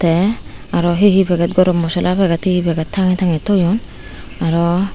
te aro he he packet gorom mosla packet he he packet tangey tangey thoyun aro.